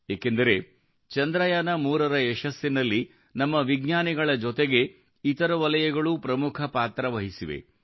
ಏಕೆಂದರೆ ಚಂದ್ರಯಾನ3ರ ಯಶಸ್ಸಿನಲ್ಲಿ ನಮ್ಮ ವಿಜ್ಞಾನಿಗಳ ಜೊತೆಗೆ ಇತರ ವಲಯಗಳೂ ಪ್ರಮುಖ ಪಾತ್ರ ವಹಿಸಿವೆ